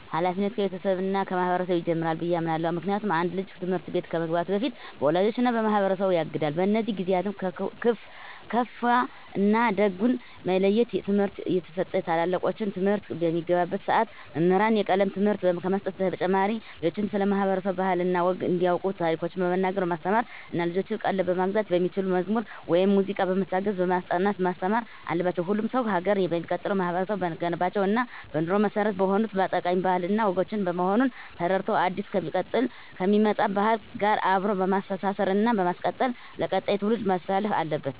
ሀላፊነቱ ከቤተሰብ እና ከማህበረሰብ ይጀምራል ብየ አምናለሁ። ምክንያቱም አንድ ልጅ ትምህርት ቤት ከመግባቱ በፊት በወላጆቹ እና በማህበረሰቡ ያጋድል። በእነዚህ ጊዜአትም ክፋ እና ደጉን የመለየት ትምህርት እየተሰጠው ታላላቆቹን፣ እንግዳን ማክበር እንዳለበት እየተማረ ያድጋል። ትምህርትቤት በሚገባባትም ሰዓት መምህራን የቀለም ትምህርትን ከመስጠት በተጨማሪ ልጆችን ስለ ማህበረሰብ ባህል እና ወግ እንዲያቁ ታሪኮችን በመናገር በማስተማር እና የልጆችን ቀልብ መግዛት በሚችሉ መዝሙር ወይም ሙዚቃዎች በመታገዝ በማስጠናት ማስተማር አለባቸው። ሁሉም ሰው ሀገር የሚቀጥለው ማህበረቡ በገነባቸው እና በኑሮ መሰረት በሆኑት ጠቃሚ ባህል እና ወጎች በመሆኑን ተረድቶ አዲስ ከሚመጣ ባህል ጋር አብሮ በማስተሳሰር እና በማስቀጠል ለቀጣይ ትውልድ ማስተላለፍ አለበት።